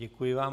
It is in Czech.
Děkuji vám.